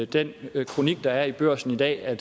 den kronik der er i børsen i dag er